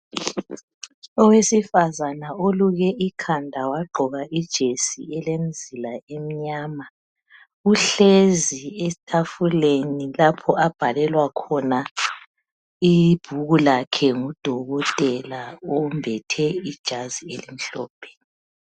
Owesifazana uluke ikhanda wagqoka ijesi elemzila emnyama uhlezi etafuleni lapha abhalelwa khona ibhuku lakhe ngudokotela uyembethe ijazi elimhlophe